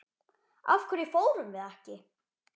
Af hverju fórum við ekki?